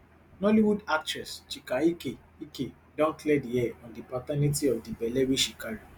nollywood actress chika ike ike don clear di air on di paternity of di belle wey she carry